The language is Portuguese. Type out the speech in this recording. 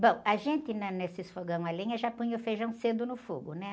Bom, a gente na, nesses fogão a lenha já punha o feijão cedo no fogo, né?